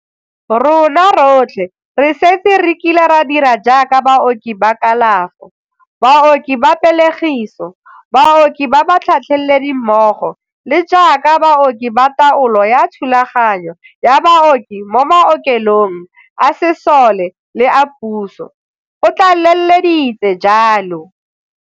Rona rotlhe re setse re kile ra dira jaaka baoki ba kalafo, baoki ba pelegiso, baoki ba batlhatlheledi mmogo le jaaka baoki ba taolo ya thulaganyo ya booki mo maoke long a sesole le a puso, o tlale leditse jalo.